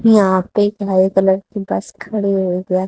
यहा पे एक हरे कलर की बस खड़ी हुई है।